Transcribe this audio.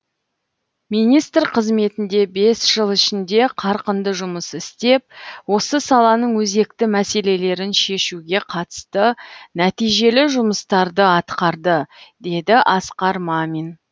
министр қызметінде бес жыл ішінде қарқынды жұмыс істеп осы саланың өзекті мәселелерін шешуге қатысты нәтижелі жұмыстарды атқарды деді асқар мамин